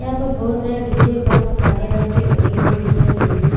यहाँ पर बहुत सारे डी_जे बॉक्स काले रंग के लगे हुए दिखाई दे रही है।